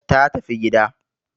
ta tafi gida